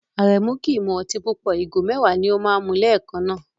Aremu kì í mu ọtí púpọ̀, ìgò mẹ́wàá ni ó máa ń mu lẹ́ẹ̀kan náà.